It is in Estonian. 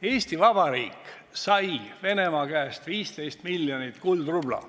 Eesti Vabariik sai Venemaa käest 15 miljonit kuldrubla.